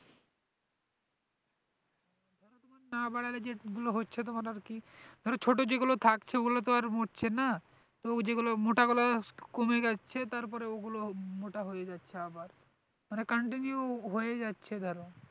না বাড়ালে যেগুলো হচ্ছে তোমার আর কি ধরো ছোটো যেগুলো থাকছে ওগুলো তো আর মরছে না তো যেগুলো মোটা গুলো কমে যাচ্ছে তারপরে ওগুলো মোটা হয়ে যাচ্ছে আবার মানে continue হয়েই যাচ্ছে,